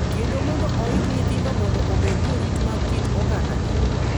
kendo mondo oik nyithindo mondo obed jorit mag kit ogandagi.